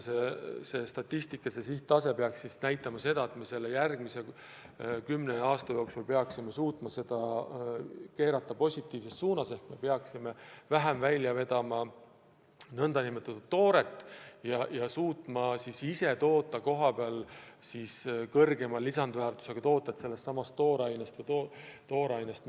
Seatud sihttase näitab eesmärki, et me järgmise kümne aasta jooksul suudame selle keerata positiivses suunas ehk me veame vähem välja nn tooret ja suudame kohapeal toorainest toota kõrgema lisandväärtusega tooteid ja neid välja vedada.